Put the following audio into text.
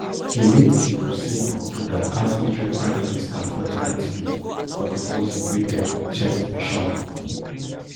di late king hussein of jordan ask israel prime minister for di antidote for di poison wey dem inject meshaal